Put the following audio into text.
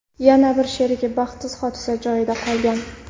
Yana bir sherigi baxtsiz hodisa joyida qolgan.